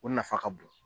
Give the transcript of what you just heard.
O nafa ka bon